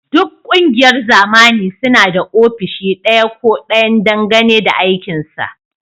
Duk ƙungiyoyin zamani suna da ofishi ɗaya ko ɗayan dangane da aikinsa